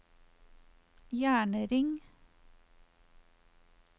jernring